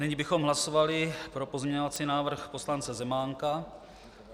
Nyní bychom hlasovali pro pozměňovací návrh poslance Zemánka.